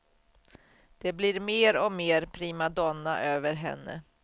Det blir mer och mer primadonna över henne.